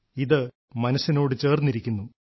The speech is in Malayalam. ഇത് മനസ്സിനോട് ചേർന്നിരിക്കുന്നു